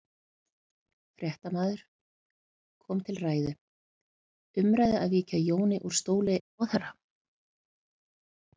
Fréttamaður: Kom til ræðu, umræðu að víkja Jóni úr stóli ráðherra?